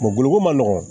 boloko ma nɔgɔn